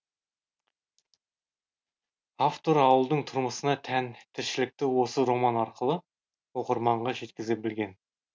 автор ауылдың тұрмысына тән тіршілікті осы роман арқылы оқырманға жеткізе білген